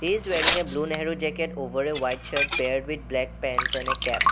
is wearing a blue nehru jacket over a white shirt paired with black pants and a cap.